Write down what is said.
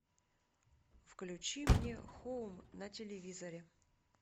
включи мне хоум на телевизоре